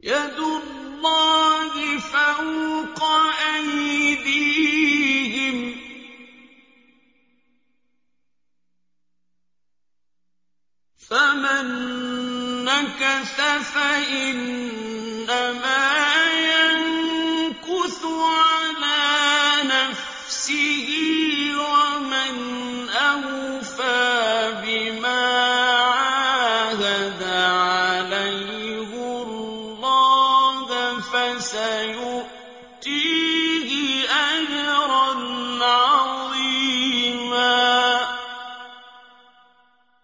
يَدُ اللَّهِ فَوْقَ أَيْدِيهِمْ ۚ فَمَن نَّكَثَ فَإِنَّمَا يَنكُثُ عَلَىٰ نَفْسِهِ ۖ وَمَنْ أَوْفَىٰ بِمَا عَاهَدَ عَلَيْهُ اللَّهَ فَسَيُؤْتِيهِ أَجْرًا عَظِيمًا